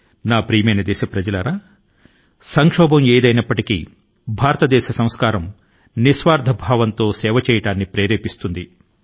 నా ప్రియమైన దేశవాసులారా మనకు ఎదురయ్యే విపత్తు తో సంబంధం లేకుండా భారతదేశం యొక్క సంస్కారం జీవన విధానం మనలో ప్రతి ఒక్కరి ని నిస్వార్థం గా సేవ చేయడానికి ప్రేరేపిస్తుంది